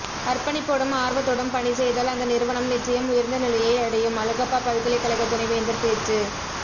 அர்ப்பணிப்போடும் ஆர்வத்தோடும் பணி செய்தால் அந்த நிறுவனம் நிச்சயம் உயர்ந்த நிலையை அடையும் அழகப்பா பல்கலைக்கழக துணைவேந்தர் பேச்சு